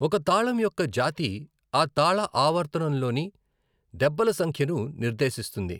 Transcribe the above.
ఒక తాళం యొక్క జాతి, ఆ తాళ ఆవర్తంలోని దెబ్బల సంఖ్యను నిర్దేశిస్తుంది.